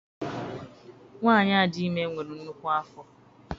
Nwaanyi a dị ime nwere nnukwu afọ.